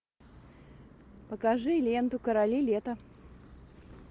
покажи ленту короли лета